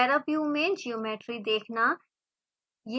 paraview में geometry देखना